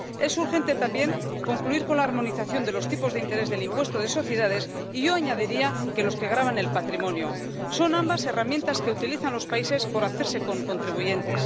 Es urgente también concluir con la armonización de los tipos de interés del impuesto de sociedades, y yo añadiría que los que gravan el patrimonio. Son ambas herramientas que utilizan los países por hacerse con contribuyentes.